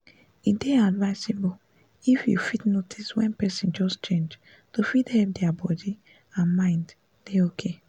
e dey advisable if you fit notice wen person just change to fit help dia body and mind dey okay